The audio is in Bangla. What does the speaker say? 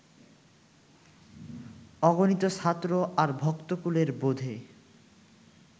অগণিত ছাত্র আর ভক্তকুলের বোধে